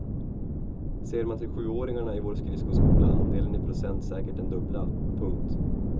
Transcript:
Ser man till sjuåringarna i vår skridskoskola andelen i procent säkert den dubbla. punkt